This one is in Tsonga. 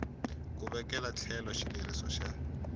ku vekela etlhelo xileriso xa